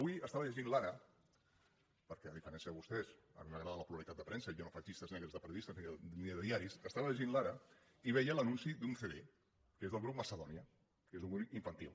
avui estava llegint l’ perquè a diferència de vostès a mi m’agrada la pluralitat de premsa i jo no faig llistes negres de periodistes ni de diaris i veia l’anunci d’un cd que és del grup macedònia que és un grup infantil